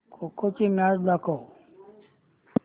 खो खो ची मॅच दाखव